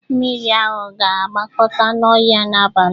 Mmiri aṅụ ga-agbakọta n'ọhịa n'abalị a